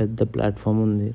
పెద్ద platform ఉంది.